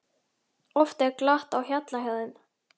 Oft er glatt á hjalla hjá þeim.